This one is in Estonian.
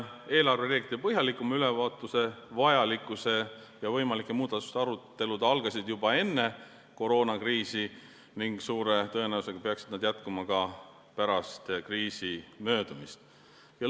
Eelarvereeglite põhjalikuma ülevaatuse vajalikkuse ja võimalike muudatuste arutelud algasid juba enne koroonakriisi ning suure tõenäosusega peaksid need jätkuma ka pärast kriisi möödumist.